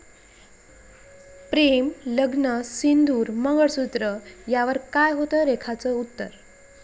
प्रेम, लग्न, सिंदूर, मंगळसूत्र...यावर काय होतं रेखाचं उत्तर?